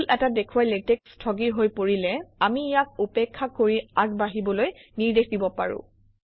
ভুল এটা দেখুৱাই লেটেক্স স্থগিৰ হৈ পৰিলে আমি ইয়াক উপেক্ষা কৰি আগবাঢ়িবলৈ নিৰ্দেশ দিব পাৰোঁ